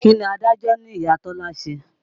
Kí ni adájọ́ ní Ìya Tọ́lá ṣe?